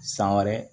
San wɛrɛ